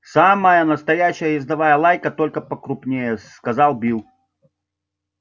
самая настоящая ездовая лайка только покрупнее сказал билл